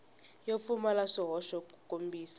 yo pfumala swihoxo ku kombisa